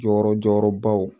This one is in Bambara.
Jɔyɔrɔ jɔyɔrɔbaw